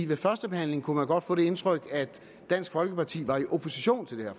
ved førstebehandlingen kunne man godt få det indtryk at dansk folkeparti var i opposition til det her